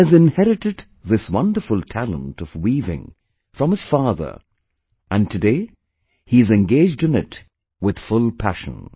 He has inherited this wonderful talent of weaving from his father and today he is engaged in it with full passion